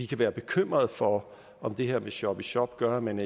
kan være bekymrede for om det her med shop i shop gør at man